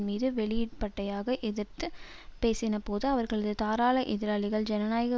மீது வெளிப்பட்யாக எதிர்த்து பேசினபோது அவர்களது தாராள எதிராளிகள் ஜனநாயக